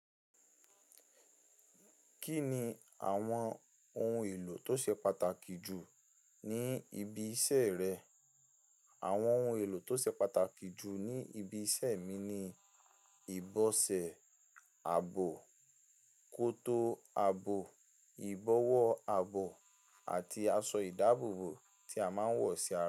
Kí ni àwọn ohun èlò tó ṣe pàtàkì jù ní ibi iṣẹ́ rẹ? Àwọn ohun èlò tó ṣe pàtàkì jù ní ibi iṣẹ́ mi ni ìbọsẹ̀ ààbò, koto ààbò, ìbọ̀wọ́ ààbò àti aṣọ ìdábòbò tí a máa ń wọ̀ sí ara.